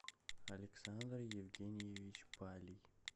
александр евгеньевич палий